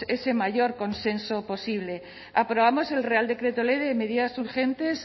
ese mayor consenso posible aprobamos el real decreto ley de medidas urgentes